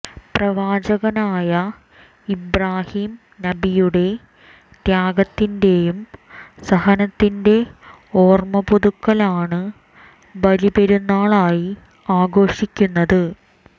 പ്രവാചകനായ ഇബ്രാഹിം നബിയുടെ ത്യാഗത്തിൻ്റെയും സഹനത്തിൻ്റെ ഓർമ്മപുതുക്കലാണ് ബലി പെരുന്നാളായി ആഘോഷിക്കുന്നത്